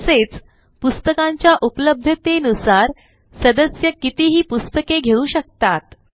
तसेच पुस्तकांच्या उपलब्धतेनुसार सदस्य कितीही पुस्तके घेऊ शकतात